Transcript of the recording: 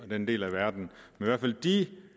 den del af verden de